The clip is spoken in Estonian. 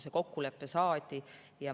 See kokkulepe saadi.